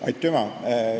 Aitüma!